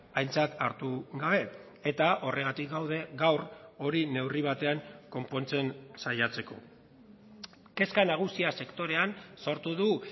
aintzat hartu gabe eta horregatik gaude gaur hori neurri batean konpontzen saiatzeko kezka nagusia sektorean sortu du